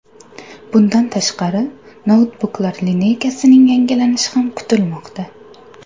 Bundan tashqari, noutbuklar lineykasining yangilanishi ham kutilmoqda.